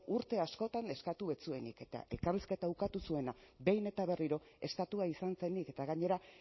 urte askotan eskatu ez zuenik eta elkarrizketa ukatu zuena behin eta berriro estatua izan zenik eta gainera